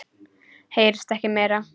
Heyrist ekkert meira.